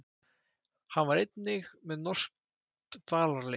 Hann var einnig með norskt dvalarleyfi